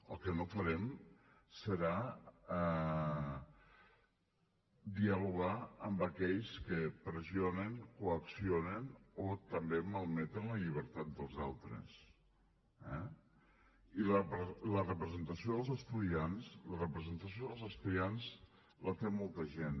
el que no farem serà dialogar amb aquells que pressionen coaccionen o també malmeten la llibertat dels altres eh i la representació dels estudiants la té molta gent